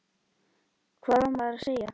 Hvað á maður að segja?